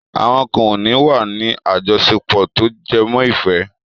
Àwọn kan ò ní wà ní àjọṣepọ̀ tó jẹmọ́ ìfẹ́.